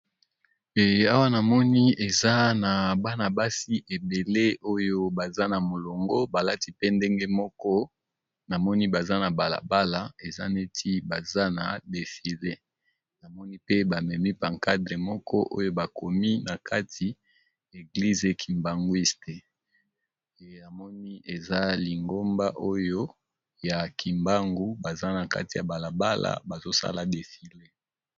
Awa na moni eza na bana-basi ebele oyo baza na molongo balati pe ndenge moko na moni baza na balabala eza neti baza na defile namoni pe bamemi pancadre moko oyo bakomi na kati eglise e kimbangwisteyamoni eza lingomba oyo ya kimbangu baza na kati ya balabala bazosala defile.